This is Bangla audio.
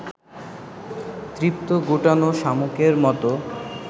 তৃপ্ত গুটানো শামুকের মতো